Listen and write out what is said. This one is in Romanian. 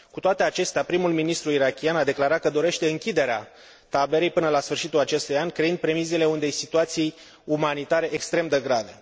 Cu toate acestea, prim ministrul irakian a declarat că dorește închiderea taberei până la sfârșitul acestui an, creând premisele unei situații umanitare extrem de grave.